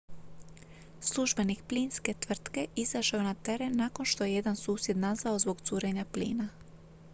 službenik plinske tvrtke izašao je na teren nakon što je jedan susjed nazvao zbog curenja plina